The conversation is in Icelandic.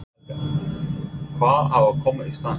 Helga: Og hvað á að koma í staðinn?